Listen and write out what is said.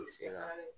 I se ka